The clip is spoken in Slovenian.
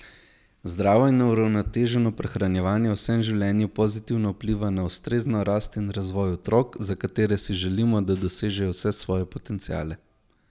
Zdravo in uravnoteženo prehranjevanje v vsem življenju pozitivno vpliva na ustrezno rast in razvoj otrok, za katere si želimo, da dosežejo vse svoje potenciale.